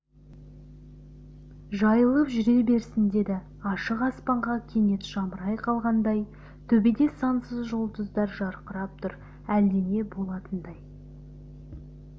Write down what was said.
жайылып жүре берсін деді ашық аспанға кенет жамырай қалғандай төбеде сансыз жұлдыздар жарқырап тұр әлдене болатындай